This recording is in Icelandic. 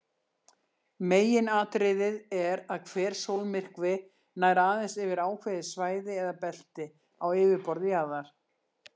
Meginatriðið er að hver sólmyrkvi nær aðeins yfir ákveðið svæði eða belti á yfirborði jarðar.